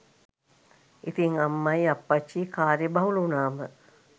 ඉතින් අම්මයි අප්පච්චියි කාර්ය බහුල වුනාම